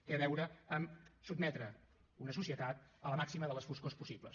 tenen a veure amb sotmetre una societat a la màxima de les foscors possibles